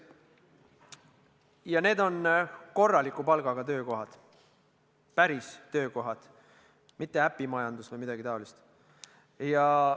Ja need on korraliku palgaga töökohad, päris töökohad, mitte äpimajandus või midagi taolist.